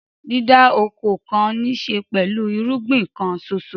Dídá oko kan níṣe pẹ̀lú irúgbìn kan ṣoṣo.